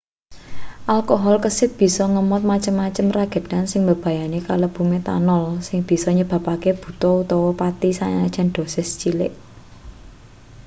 alkohol kesit bisa ngemot macem-macem regedan sing mbebayani kalebu métanol sing bisa nyebabake buta utawa pati sanajan dosis cilik